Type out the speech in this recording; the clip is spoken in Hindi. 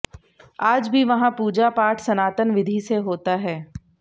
आज भी वहां पूजा पाठ सनातन विधि से होता है